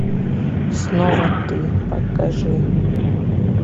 снова ты покажи